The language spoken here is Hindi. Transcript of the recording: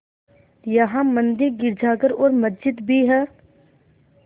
यहाँ मंदिर गिरजाघर और मस्जिद भी हैं